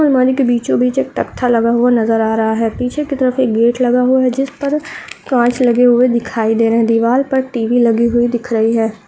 आलमारी के बीचो बीच एक तक्था लगा हुआ नज़र आ रहा है पीछे की तरफ एक गेट लगा हुआ है जिसपर कांच लगे हुए दिखाई दे रहे हैं दीवाल पर टी.वी. लगी हुई दिख रही है।